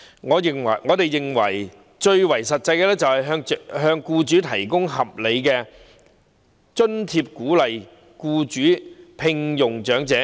我們認為最實際的做法是向僱主提供合理津貼，鼓勵僱主聘用長者。